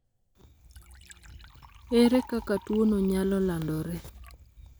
ere kaka tuono nyalo landore?